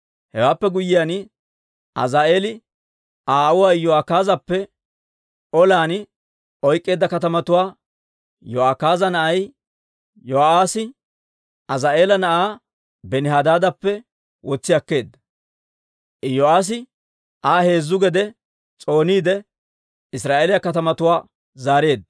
Hewaappe guyyiyaan, Azaa'eeli Aa aawuwaa Iyo'akaazeppe olan oyk'k'eedda katamatuwaa Yo'akaaza na'ay Yo'aassi Azaa'eela na'aa Benihadaadappe wotsi akkeedda. Iyo'aassi Aa heezzu gede s'ooniide, Israa'eeliyaa katamatuwaa zaareedda.